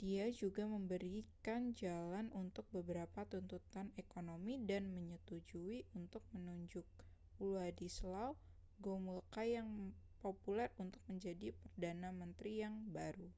dia juga memberikan jalan untuk beberapa tuntutan ekonomi dan menyetujui untuk menunjuk wladyslaw gomulka yang populer untuk menjadi perdana menteri yang baru